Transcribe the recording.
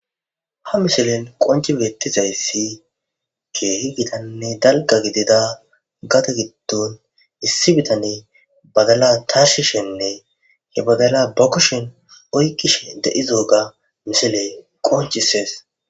Ha misilen qonci bettizayssi keehi bitanne dalga gidida gata gitton issi bitane badala tarshishenne he badala ba kushen oykkishe de7izooga misiley qoncisees.